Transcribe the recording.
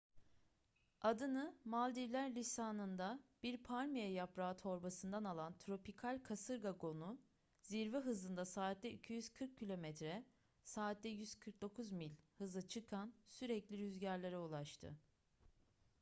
adını maldivler lisanında bir palmiye yaprağı torbasından alan tropikal kasırga gonu zirve hızında saatte 240 kilometre saatte 149 mil hıza çıkan sürekli rüzgarlara ulaştı